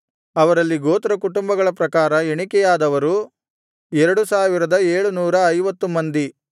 ಅವರಲ್ಲಿ ಗೋತ್ರಕುಟುಂಬಗಳ ಪ್ರಕಾರ ಎಣಿಕೆಯಾದವರು 2750 ಮಂದಿ